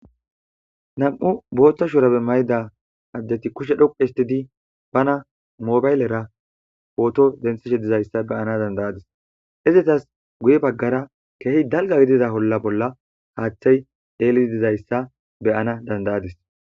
Namu' boothta shura be mayda addeti kushe dhoqu histidi bana mobaylera pooto dentheshe dizayssa beyana dandayadis izetas guye baggara keehi dalga gidida holla bolla haaththay eeliti dizayssa beyana dandayadis.